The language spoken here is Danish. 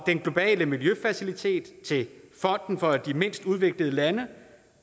den globale miljøfacilitet til fonden for de mindst udviklede lande